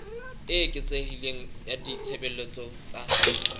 e eketsehileng ya ditshebeletso tsa